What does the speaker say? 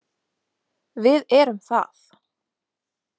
Við erum það.